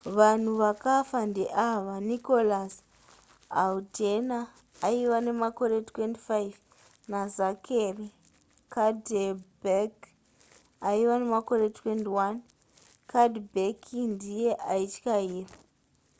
vanhu vakafa ndeava nicholas alden aiva nemakore 25 nazachary cuddeback aiva nemakore 21 cuddeback ndiye aityaira